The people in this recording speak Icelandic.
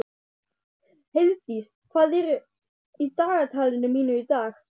Heiðdís, hvað er í dagatalinu mínu í dag?